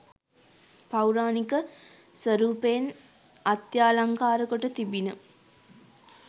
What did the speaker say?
පෞරාණික ස්වරූපයෙන් අත්‍යාලංකාර කොට තිබිණ